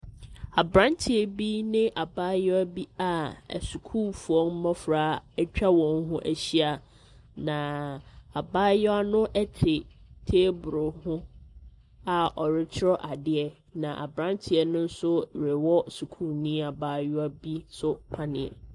Aberanteɛ bi ne abayewa bi a asukuufoɔ mmɔfra atwa wɔn ho ahyia, na abayewa no te table ho a ɔretwerɛ adeɛ, na aberanteɛ no nso rewɔ sukuuni abayewa bi nso panneɛ.